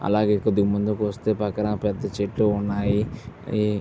అలాగే కొద్దిగ ముందుకు వస్తే పక్కన పెద్ద చెట్టు ఉన్నాయి. ఈ --